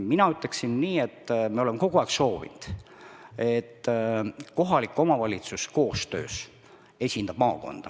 Mina ütleksin nii, et me oleme kogu aeg soovinud, et kohalikud omavalitsused esindavad maakonda koostöös.